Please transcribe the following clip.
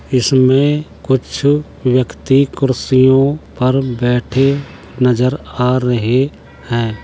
इसमें कुछ व्यक्ति कुर्सियों पर बैठे नजर आ रहे हैं।